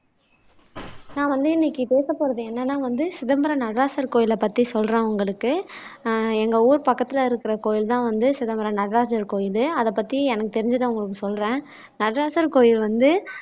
நான் வந்து இன்னைக்கு பேசப் போறது என்னன்னா வந்து சிதம்பர நடராசர் கோயிலை பத்தி சொல்றேன் உங்களுக்கு அஹ் எங்க ஊர் பக்கத்துல இருக்குற கோயில் தான் வந்து சிதம்பர நடராசர் கோயிலு அதை பத்தி எனக்கு தெரிஞ்சதை உங்களுக்கு சொல்றேன் நடராசர் கோயில் வந்து